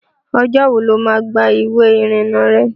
Ọjọ́ wo ló má gba ìwé ìrìnà rẹ?